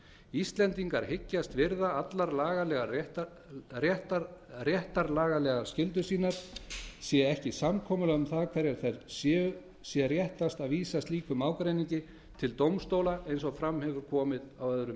íslendingar hyggjast virða allar lagalega réttarlagalegar skyldur sínar sé ekki samkomulag um það hverjar þær séu sé réttast að vísa slíkum ágreiningi til dómstóla eins og fram hefur komið á öðrum